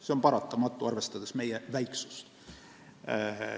See on paratamatu, arvestades meie väiksust.